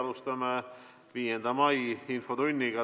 Alustame 5. mai infotundi.